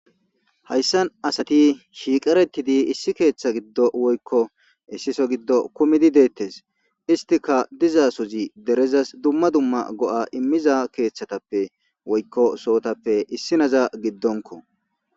hayssan asati shiiqaretidi issi keeththa giddo woykko issiso giddo kumidi deettes istika dizaasozi derezas dumma dumma go7a immiza keeththatappe woykko sootappe issi naza giddonko